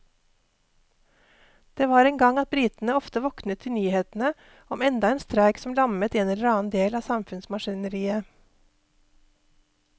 Det var en gang at britene ofte våknet til nyhetene om enda en streik som lammet en eller annen del av samfunnsmaskineriet.